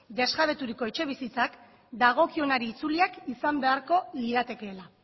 desjabeturiko etxebizitzak dagokionari itzuliak izan beharko liratekeela